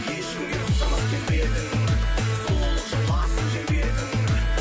ешкімге ұқсамас келбетің сұлулық